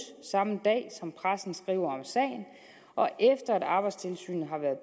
samme dag som pressen skriver om sagen og efter at arbejdstilsynet har været